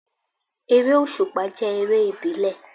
Eré òsùpá jẹ́ eré ìbílẹ̀